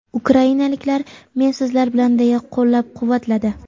Ukrainaliklar, men sizlar bilan deya qo‘llab-quvvatladi.